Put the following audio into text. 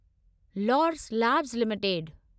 Laurus labs limited